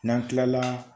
N'an kilala